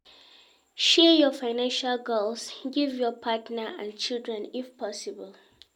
Share your financial goals give your partner and children if possible